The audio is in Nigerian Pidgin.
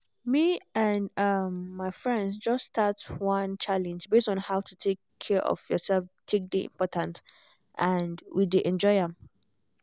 me and my um friends just start one challenge base on how to take care of yourself take dey important and we dey enjoy am